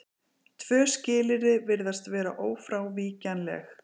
Tvö skilyrði virðast vera ófrávíkjanleg.